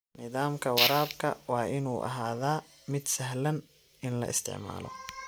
Nidaamka waraabka waa inuu ahaadaa mid sahlan in la isticmaalo.